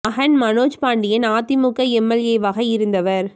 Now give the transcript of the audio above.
மகன் Manoj Pandian AIADMK M L A வாக இருந்தவர்